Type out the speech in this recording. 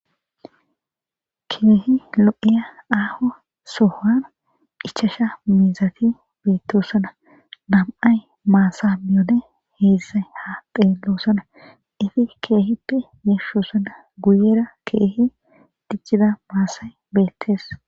Keehi lo'iya aho sohuwan echchashsha mizzati bettosona na'ay maththa miyodde hedzdzay ha xelosona etiquette keehippe yashshona guyera keehi dic'ida masay de'es.